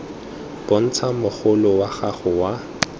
bontsha mogolo wa gago wa